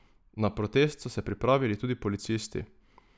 Na protest so se pripravili tudi policisti.